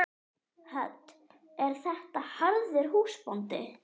Hödd: Er þetta harður húsbóndi?